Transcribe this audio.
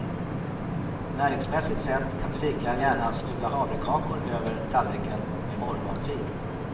Näringsmässigt sett kan du lika gärna smula havrekakor över tallriken med morgonfil.